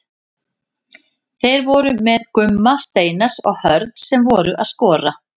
Þeir voru með Gumma Steinars og Hörð sem voru að skora.